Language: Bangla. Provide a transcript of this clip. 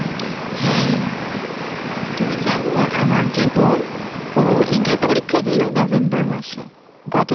হ্যাঁ, তুমি জানো আমার যে বোন, ও inter~ পরীক্ষা দিল November মাসে, গত